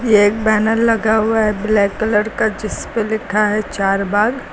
यह एक बैनर लगा हुआ है ब्लैक कलर का जिस पे लिखा है चार बाग--